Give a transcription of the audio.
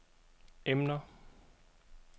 emner